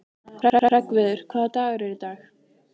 Hreggviður, hvaða dagur er í dag?